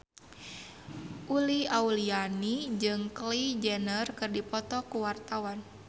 Uli Auliani jeung Kylie Jenner keur dipoto ku wartawan